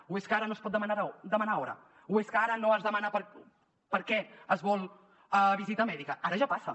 o és que ara no es pot demanar hora o és que ara no es demana per què es vol visita mèdica ara ja passa